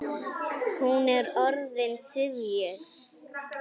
Hún er orðin syfjuð.